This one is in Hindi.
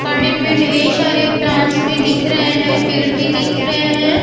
गार्डन में ढेर शारे प्लांट्स भी दिख रहे है। पेड़ भी दिख रहे है।